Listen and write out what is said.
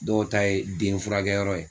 Dɔw ta ye den furakɛyɔrɔ ye